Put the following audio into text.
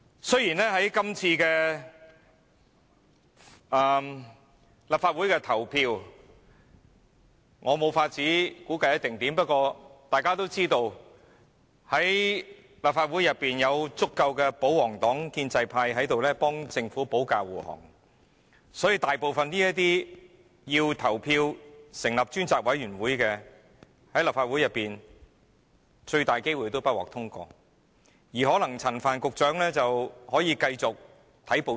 雖然我無法估計這次立法會的投票結果將會如何，但大家也知道，立法會內有足夠的保皇黨及建制派為政府保駕護航，所以這項成立專責委員會的議案，很大機會不獲通過，那麼陳帆局長大可繼續看報紙。